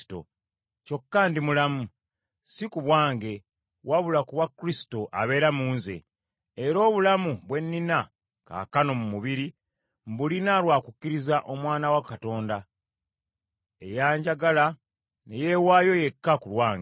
kyokka ndi mulamu, si ku bwange, wabula ku bwa Kristo abeera mu nze; era obulamu bwe nnina kaakano mu mubiri, mbulina lwa kukkiriza Omwana wa Katonda, eyanjagala ne yeewaayo yekka ku lwange.